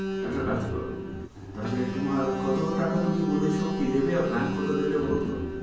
একটা কাজ করো, তাহলে তোমার কত টাকা তুমি বলেছো কি দেবে আর bank কতো দেবে বলতো?